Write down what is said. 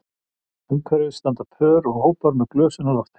Umhverfis standa pör og hópar með glösin á lofti